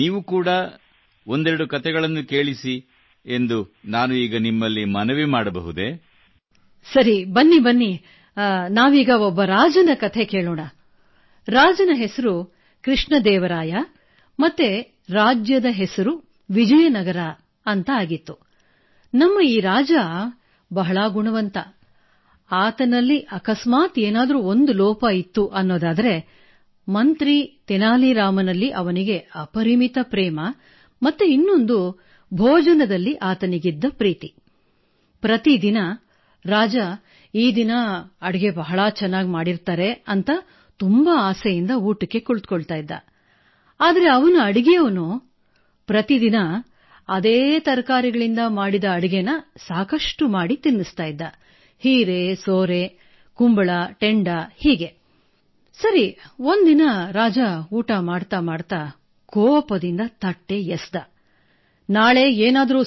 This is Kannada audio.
E am an electrical engineer turned professional storyteller